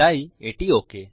তাই এটি ওক